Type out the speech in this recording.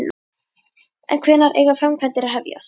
En hvenær eiga framkvæmdir að hefjast?